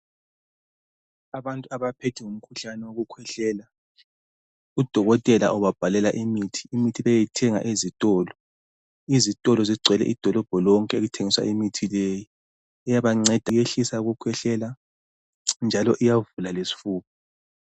Abantu abaphethwe ngumkhuhlane wokukhwehlela , udokotela ubabhalela imithi ukuthi beyithenga ezitolo , izitolo zigcwele idolobho lonke okuthengiswa imithi leyi iyabanceda iyehlisa ukukhwehlela njalo iyavula lesfuba